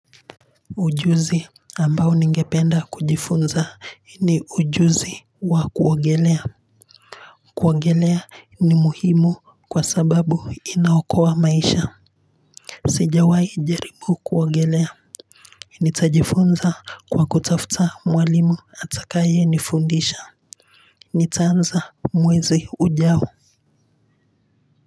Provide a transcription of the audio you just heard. Ujuzi ambao ningependa kujifunza ni ujuzi wa kuogelea kuogelea ni muhimu kwa sababu inaokoa maisha sijawahi jaribu kuogelea nitajifunza kwa kutafta mwalimu atakaye nifundisha. Nitaanza mwezi ujao.